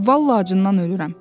Vallahi acından ölürəm.